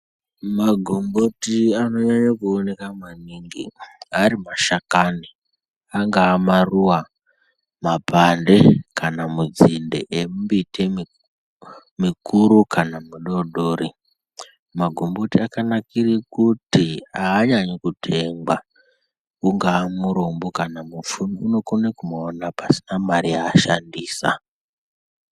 Magomboti anonyanya kuoneka maningi ari mashakani, angaa maruwa, mapande kana midzinde yembiti imwe mikuru kana midori dori. Magomboti akanakire kuti haanyanyi kutengwa. Ungava murombo kana mupfumi, unokone kumaona pasina mari yaashandisa.